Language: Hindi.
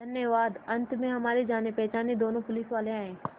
धन्यवाद अंत में हमारे जानेपहचाने दोनों पुलिसवाले आए